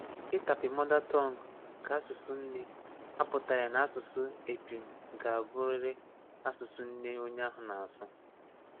Ìtápị́ mother tongue ka asụsụ nne apụtaghị na asụsụ épụm ga-abụrịrị asụsụ nne onye ahụ na-asụ.